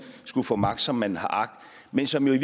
skulle få magt som man har agt men som jo i